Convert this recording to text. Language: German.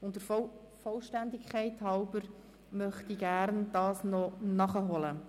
Der Vollständigkeit halber möchte ich dies nachholen.